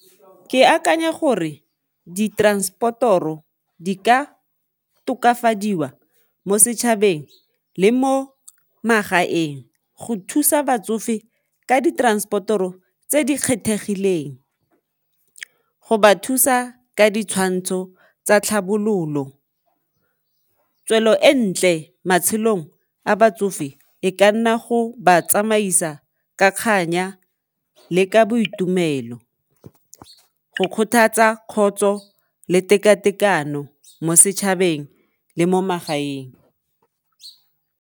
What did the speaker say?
Ke akanya gore di transport-toro di ka tokafadiwa mo setšhabeng le mo magaeng go thusa batsofe ka di-transport-toro tse di kgethegileng, go ba thusa ka ditshwantsho tsa tlhabololo, tswelo e ntle matshelong a batsofe e ka nna go ba tsamaisa ka kganya le ka boitumelo, go kgothatsa kgotso le tekatekano mo setšhabeng le mo magaeng.